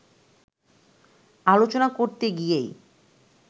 আলোচনা করতে গিয়েই